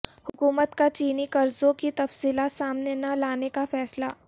حکومت کا چینی قرضوں کی تفصیلات سامنے نہ لانے کا فیصلہ